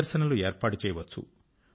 ప్రదర్శనలు ఏర్పాటు చేయవచ్చు